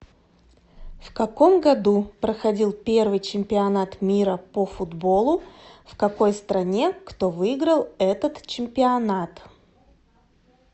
в каком году проходил первый чемпионат мира по футболу в какой стране кто выиграл этот чемпионат